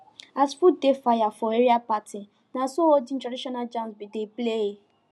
as food dey fire for area party naso olden traditional jams been dey play